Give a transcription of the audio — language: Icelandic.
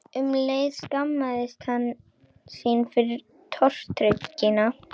Um leið skammaðist hann sín fyrir tortryggnina.